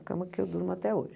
A cama que eu durmo até hoje.